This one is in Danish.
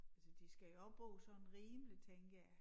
Altså de skal jo også bo sådan rimeligt tænker jeg